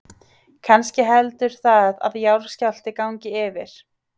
Kannski heldur það að jarðskjálfti gangi yfir.